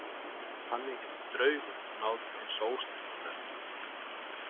Þannig getur draugur náð til hins ósnertanlega.